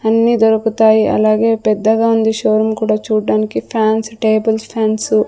అన్ని దొరుకుతాయి అలాగే పెద్దగా ఉంది షో రూమ్ కూడా చూడడానికి ఫ్యాన్స్ టేబుల్ ఫాన్స్ .